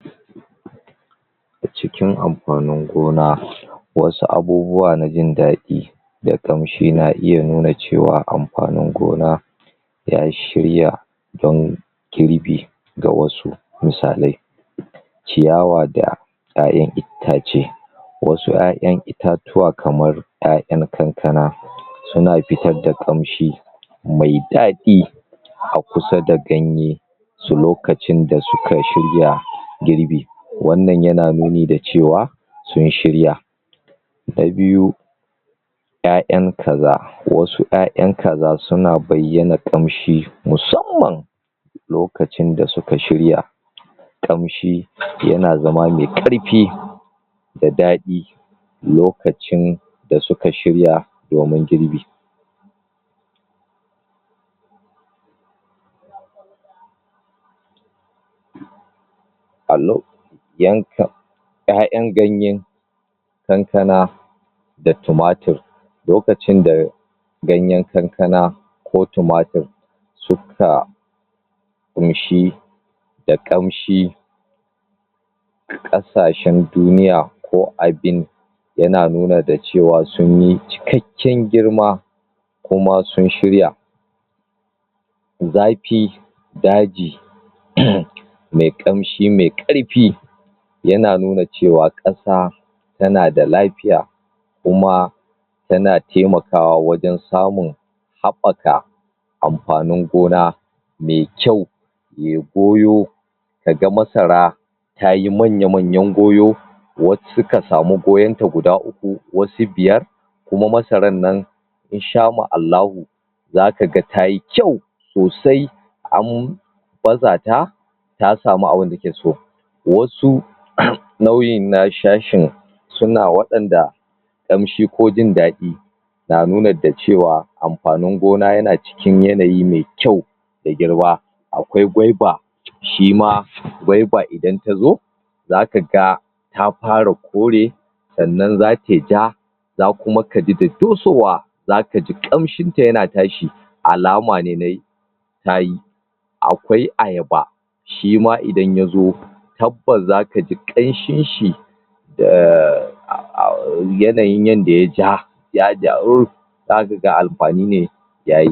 wannan manya manyan motoci ne wanda gwamnan jahar Edo me suna Adiyinka Monday wanda ya siyar ma jahar um guda hamsin da shida masu ƙiran Toyota wanda ya samar dasu domin zirga zirga na wannan na wannan na mutanen wannan jiha domin rage raɗaɗi na kuɗin tafiye tafiye ya miƙa wannan motoci ga hukumar kula da tafiye tafiye na wannan jiha bayan haka kuma gwamna ya ƙara siyan guda talatin da takwas masu ƙirar Hillux da kuma masu guda sha shida masu suna prado wato tsu na ma'aikatan tsaro na ɓangaren ma'aikatan tsaro suma ya siya musu irin wannan motoci duk domin sauƙaƙa ma mutanen wannan jaha ta ɓangaren sufuri waƴan nan motocin an sasu akan tsari ne na tafiye tafiye wanda idan kuka lura da hotonan da kyau zakuga cewa akwai mutane waƴanda aka ɗauke su aiki masamman domin kula da waƴannan motoci shiyasa zaku gansu gasu nan a jikin hoto wasu sun sa kaya me ruwan ganye da ruwan kwai wanda waƴannan shine yake nuna cewa alamar waƴannan ma'aikata ne na wannan motoci da gwamnan Monday ya siye su kuma suma yanda bayan ya ɗauke su suma an musu tsari ne a matsayin kaman ma'aikata na wucin gadi wanda ita gwamnatin jihar Edo zata riƙa biyan su duk ƙarshan wata wannan shine ɗan taƙaitaccan bayani game da waƴan nan motoci wanda shi gwamna na jahar Edo ya ƙaddamar ya siyar musu